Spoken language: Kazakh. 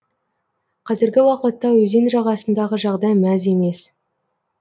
қазіргі уақытта өзен жағасындағы жағдай мәз емес